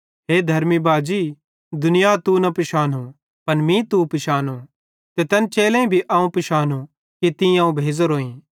हे धर्मी बाजी दुनियां तू न पिशानो पन मीं तू पिशानो ते तैन चेलेईं भी अवं पिशानो कि तीं अवं भेज़ोरोईं